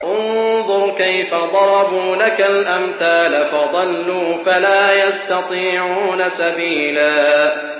انظُرْ كَيْفَ ضَرَبُوا لَكَ الْأَمْثَالَ فَضَلُّوا فَلَا يَسْتَطِيعُونَ سَبِيلًا